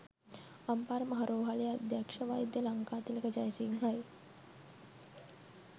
අම්පාර මහා රෝහලේ අධ්‍යක්ෂ වෛද්‍ය ලංකාතිලක ජයසිංහයි